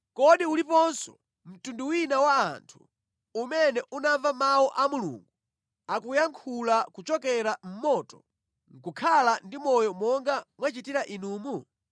Kodi uliponso mtundu wina wa anthu umene unamva mawu a Mulungu akuyankhula kuchokera mʼmoto nʼkukhala ndi moyo monga mwachitira inumu?